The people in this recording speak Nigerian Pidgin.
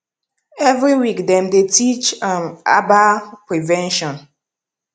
every week dem dey teach um herbal prevention